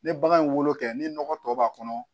Ne bagan ye wolo kɛ ni nɔgɔ tɔ b'a kɔnɔ